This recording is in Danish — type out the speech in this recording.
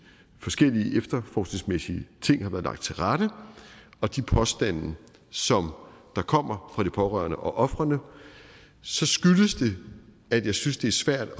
forskellige efterforskningsmæssige ting har været lagt til rette og de påstande som kommer fra de pårørende og ofrene så skyldes det at jeg synes det er svært at